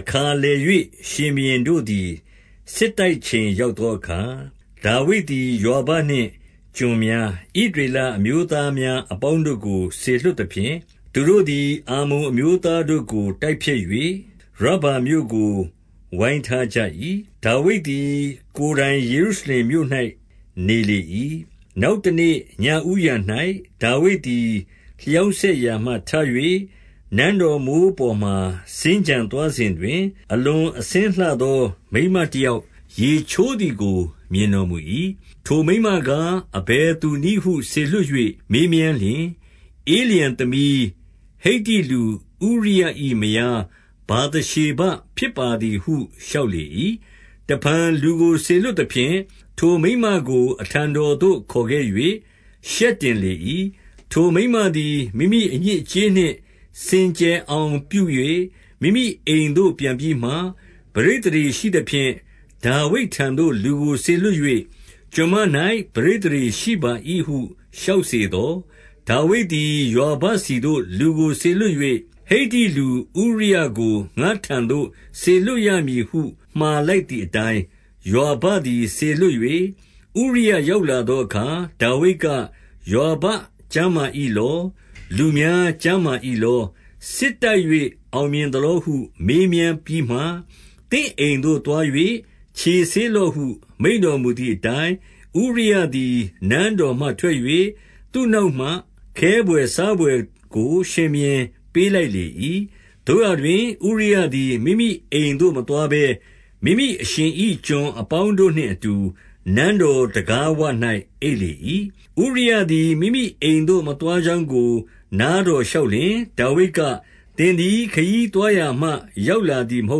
အခါလည်၍ ရှင်ဘုရင်တို့သည် စစ်တိုက်ချိန် ရောက်သောအခါ၊ ဒါဝိဒ်သည် ယွာဘနှင့်ကျွန်များ၊ ဣသရေလ အမျိုးသားများအပေါင်းတို့ကို စေလွှတ်သဖြင့်၊ သူတို့သည် အမ္မုန်အမျိုးသားတို့ကို တိုက်ဖျက်၍ ရဗ္ဗာ မြို့ကို ဝိုင်းထားကြ၏။ ဒါဝိဒ်သည် ကိုယ်တိုင်ယေရုရှလင်မြို့၌ နေလေ၏။ 2 နောက်တနေ့ညဦးယံ၌ ဒါဝိဒ်သည် လျောင်းစက်ရာမှထ၍ နန်းတော်မိုးပေါ်မှာ စင်္ကြံသွာစဉ်တွင်၊ အလွန်အဆင်းလှသောမိန်းမတယောက် ရေချိုးသည်ကို မြင်တော်မူ၏။ 3 ထိုမိန်းမကား အဘယ်သူနည်းဟုစေလွှတ်၍ မေးမြန်းလျှင်၊ ဧလျံသမီး၊ ဟိတ္တိလူဥရိယ၏မယား ဗာသ ရှေဘဖြစ်ပါသည်ဟု လျှောက်လေ၏။ 4 တဖန်လူကိုစေလွှတ်သဖြင့်၊ ထိုမိန်းမကို အထံတော်သို့ ခေါ်ခဲ့၍ ရှက်တင်လေ၏။ ထိုမိန်းမသည် မိမိအညစ်အကြေးနှင့် စင်ကြယ်အောင်ပြု၍ မိမိအိမ်သို့ ပြန်ပြီးမှ၊ 5 ပဋိသန္ဓေရှိသဖြင့် ဒါဝိတ်ထံသို့လူကိုစေလွှတ်၍၊ကျွန်မ၌ ပဋိသန္ဓေရှိပါ၏ဟု လျှောက်စေသော်၊ 6 ဒါဝိဒ်သည် ယွာဘဆီသို့ လူကိုစေလွှတ်၍ ဟိတ္တိလူ ဥရိယကို ငါ့ထံသို့ စေလွှတ်ရမည်ဟု မှာလိုက်သည် အတိုင်း၊ ယွာဘသည်စေလွှတ်၍၊ 7 ဥရိယရောက်လာသောအခါ ဒါဝိဒ်က၊ ယွာဘ ကျန်းမာ၏လော။ လူများကျန်းမာ၏လော။ စစ်တိုက်၍ အောင်မြင်သလောဟုမေးမြန်းပြီးမှ၊ 8 သင့်အိမ်သို့သွား၍ ခြေဆေးလော့ဟု မိန့်တော်မူသည်အတိုင်း၊ ဥရိယသည် နန်းတော်မှထွက်၍ သူ နောက်မှ ခဲဘွယ်စားဘွယ်ကို ရှင်ဘုရင် ပေးလိုက်လေ၏။ 9 သို့ရာတွင် ဥရိယသည် မိမိအိမ်သို့မသွားဘဲ၊ မိမိအရှင်၏ကျွန်အပေါင်းတို့နှင့်အတူ နန်းတော်တံခါးဝ၌ အိပ်လေ၏။ 10 ဥရိယသည် မိမိအိမ်သို့ မသွားကြောင်းကို နားတော်လျှောက်လျှင် ဒါဝိဒ်က၊ သင်သည်ခရီးသွားရာမှ ရောက်လာသည်မဟု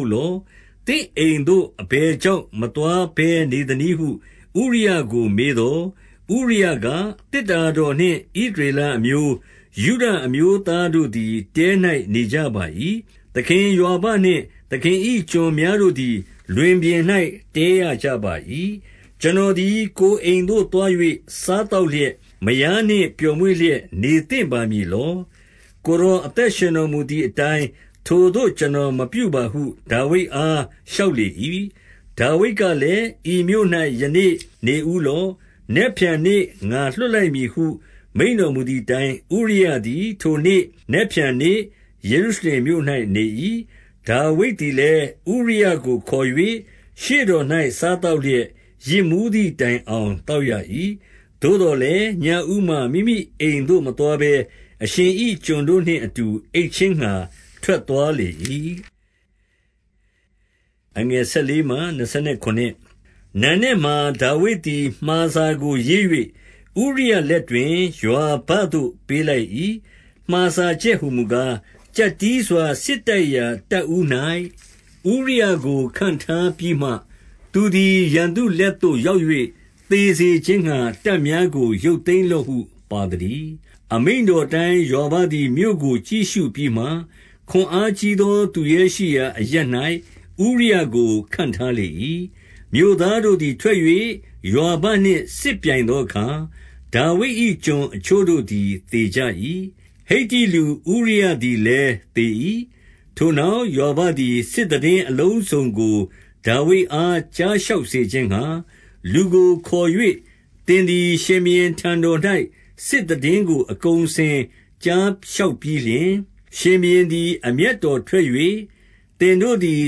တ်လော။ သင့်အိမ်သို့ အဘယ်ကြောင့် မသွားဘဲနေသနည်းဟု ဥရိယကိုမေးသော်၊ 11 ဥရိယက၊ သေတ္တာတော်နှင့်ဣသရေလအမျိုး၊ ယုဒအမျိုးသားတို့သည် တဲ၌နေကြပါ၏။ သခင်ယွာဘနှင့် သခင်၏ကျွန်များတို့သည် လွင်ပြင်၌တည်းရကြပါ၏။ ကျွန်တော်သည် ကိုယ်အိမ်သို့သွား၍ စားသောက်လျက် မယားနှင့် ပျော်မွေ့လျက်နေသင့်ပါမည်လော။ ကိုယ်တော် အသက်ရှင်တော်မူသည်အတိုင်း၊ ထိုသို့ကျွန်တော် မပြုပါဟု ဒါဝိဒ်အား လျှောက်လေ၏။ 12 ဒါဝိဒ်ကလည်း၊ ဤမြို့၌ ယနေ့နေဦးလော့။ နက်ဖြန်နေ့ ငါလွှတ်လိုက်မည်ဟုမိန့်တော်မူသည်အတိုင်း၊ ဥရိယသည်ထိုနေ့၊ နက်ဖြန်နေ့၊ ယေရုရှလင်မြို့၌နေ၏။ 13 ဒါဝိဒ်သည်လည်း ဥရိယကိုခေါ်၍ ရှေ့တော်၌ စားသောက်လျက် ယစ်မူးသည်တိုင်အောင်သောက်ရ၏။ သို့သော်လည်း ညဦးမှာမိမိအိမ်သို့ မသွားဘဲ၊ အရှင်၏ ကျွန်တို့နှင့်အတူ အိပ်ခြင်းငှါ ထွက်သွားလေ၏။ 14 နံနက်မှာ ဒါဝိဒ်သည် မှာစာကိုရေး၍ ဥရိယ လက်တွင် ယွာဘသို့ ပေးလိုက်၏။ 15 မှာစာချက်ဟူမူကား၊ ကျပ်တည်းစွာစစ်တိုက်ရာ တပ်ဦး၌ ဥရိယကို ခန့်ထားပြီးမှ၊ သူသည် ရန်သူလက်သို့ ရောက်၍ သေစေခြင်းငှါ တပ်များကို ရုပ်သိမ်းလော့ဟု ပါသတည်း။ 16 အမိန့်တော်အတိုင်း ယွာဘသည်မြို့ကို ကြည့်ရှုပြီးမှ၊ ခွန်အားကြီးသော သူရဲရှိရာအရပ်၌ ဥရိယကို ခန့်ထားလေ၏။ 17 မြို့သားတို့သည် ထွက်၍ယွာဘနှင့် စစ်ပြိုင်သောအခါ၊ ဒါဝိဒ်၏ကျွန်အချို့တို့သည် သေကြ၏။ ဟိတ္တိလူဥရိယသည်လည်း သေ၏။ 18 ထိုနောက်ယွာဘသည် စစ်သိတင်းအလုံးစုံကို ဒါဝိဒ်အားကြား လျှောက်စေခြင်းငှါ လူကိုခေါ်၍၊ 19 သင်သည်ရှင်ဘုရင်ထံတော်၌ စစ်သိတင်းကို အကုန်အစင်ကြား လျှောက်ပြီးလျှင်၊ 20 ရှင်ဘုရင်သည် အမျက်တော်ထွက်၍၊ သင်တို့သည်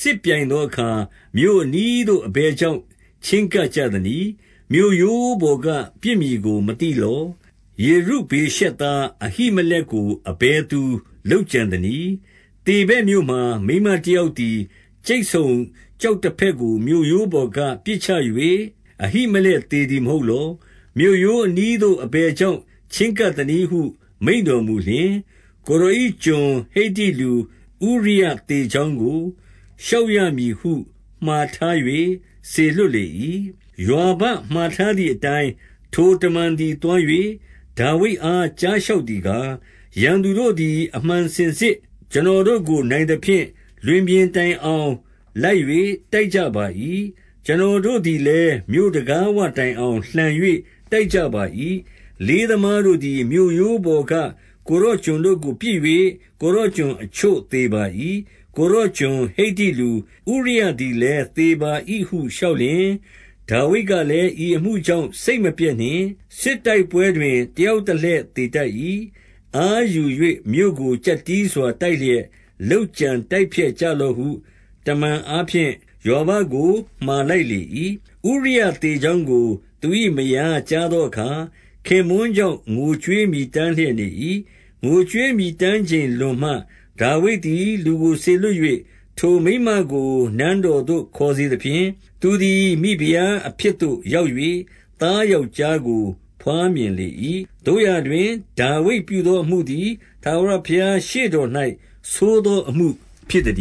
စစ်ပြိုင်သောအခါ၊ မြို့အနီးသို့ အဘယ်ကြောင့် ချဉ်းကပ်ကြသနည်း။ မြို့ရိုးပေါ်က ပစ်မည်ကို မသိလော။ 21 ယေရုဗ္ဗေရှက်သား အဘိမလက်ကို အဘယ်သူ လုပ်ကြံသနည်း။ သေဗက်မြို့မှာ မိန်းမတယောက်သည် ကြိတ်ဆုံကျောက်တဖဲ့ကို မြို့ရိုးပေါ်ကပစ်ချ၍ အဘိမ လက်သေသည်မဟုတ်လော။ မြို့ရိုးအနီးသို့ အဘယ် ကြောင့် ချဉ်းကပ်ကြသနည်းဟု မိန့်တော်မူလျှင်၊ ကိုယ်တော်၏ ကျွန်ဟိတ္တိလူ၊ ဥရိယသေကြောင်းကို လျှောက်ရ မည်ဟု မှာထား၍ စေလွှတ်လေ၏။ 22 ယွာဘမှာထားသည်အတိုင်း ထိုတမန်သည် သွား၍ ဒါဝိဒ်အား ကြားလျှောက်သည်ကား၊ 23 ရန်သူတို့သည် အမှန်စင်စစ် ကျွန်တော်တို့ကို နိုင်သဖြင့်၊ လွင်ပြင်တိုင်အောင်လိုက်၍ တိုက်ကြပါ၏။ ကျွန်တော်တို့သည်လည်း မြို့တံခါးဝတိုင်အောင် လှန်၍ တိုက်ကြပါ၏။ 24 လေးသမားတို့သည် မြို့ရိုးပေါ်က ကိုယ်တော် ကျွန်တို့ကို ပစ်၍ ကိုယ်တော်ကျွန်အချို့သေကြပါ၏။ ကိုယ်တော်ကျွန်ဟိတ္တိလူ၊ ဥရိယသည်လည်း သေပါ၏ဟု လျှောက်လျှင်၊ 25 ဒါဝိဒ်ကလည်း၊ ဤအမှုကြောင့် စိတ်မပျက်နှင့်။ စစ်တိုက်ပွဲတွင် တယောက်တလှည့်သေတတ်၏။ အားယူ ၍ မြို့ကိုကျပ်တည်းစွာ တိုက်လျက်လုပ်ကြံတိုက်ဖျက် ကြလော့ဟု တမန်အားဖြင့် ယွာဘကို မှာလိုက်လေ၏။ 26 ဥရိယသေကြောင်းကို သူ၏မယားကြားသောအခါ၊ ခင်ပွန်းကြောင့် ငိုကြွေးမြည်တမ်းလျက် နေ၏။ 27 ငိုကြွေးမြည်တမ်းချိန် လွန်မှ၊ ဒါဝိဒ်သည် လူကို စေလွှတ၍ ထိုမိန်းမကို နန်းတော်သို့ခေါ်စေသဖြင့်၊ သူသည် မိဖုရားအဖြစ်သို့ ရောက်၍ သားယောက်ျားကို ဘွားမြင်လေ၏။ သို့ရာတွင် ဒါဝိဒ်ပြုသောအမှုသည် ထာဝရဘုရားရှေ့တော်၌ ဆိုးသောအမှုဖြစ်သတ